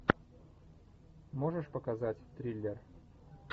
можешь показать триллер